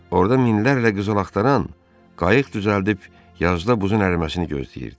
Orda minlərlə qızıl axtaran qayıq düzəldib yazda buzun əriməsini gözləyirdi.